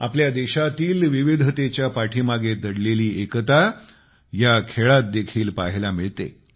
आपल्या देशातील विविधतेच्या पाठीमागे दडलेली एकता ह्या खेळात देखील पाहायला मिळते